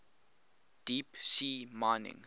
deep sea mining